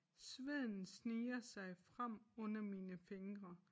Sveden sniger sig frem under mine fingre